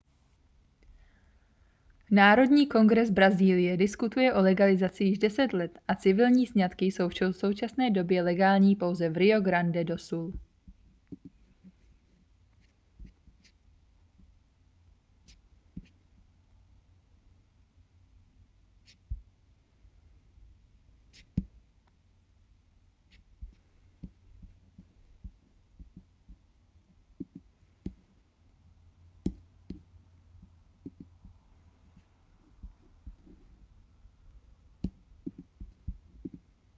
národní kongres brazílie diskutuje o legalizaci již 10 let a civilní sňatky jsou v současné době legální pouze v rio grande do sul